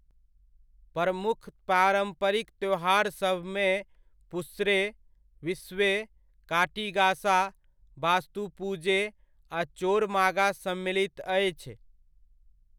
प्रमुख पारम्परिक त्योहारसभमे पुस्ने, बिस्वे, काटी गासा, बास्तु पुजे आ चोर मागा सम्मिलित अछि।